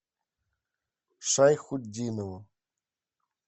шайхутдинову